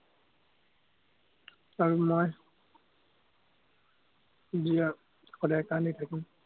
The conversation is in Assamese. আৰু মই সদায় কান্দি থাকিম।